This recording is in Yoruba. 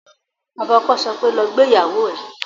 Bàbá ọkọ sọ pé "lọ gbé ìyàwó ẹ"